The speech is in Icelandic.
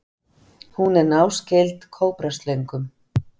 Hún er náskyld kóbraslöngum.